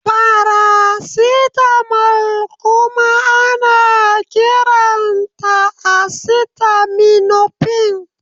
Faracetamol kuma ana kiranta acetaminofen.